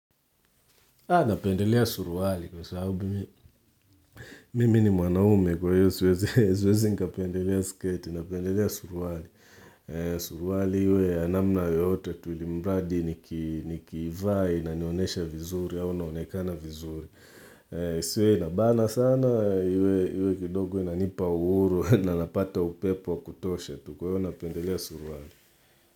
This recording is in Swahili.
Napendelea suruali kwa sababu mimi. Mimi ni mwanaume kwa hiyo siwezi nkapendelea sketi, napendelea suruwali. Suruali hiyo ya namna yote tu ilimradi nikivai inanyonesha vizuri yao naonekana vizuri. Isiwe inabana sana hiyo kidogo inanipa uhuru na napata upepo wa kutoshe tu kwa hiyo napendelea suruwali.